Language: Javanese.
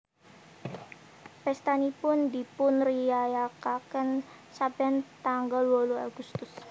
Pèstanipun dipunriyayakaken saben tanggal wolu agustus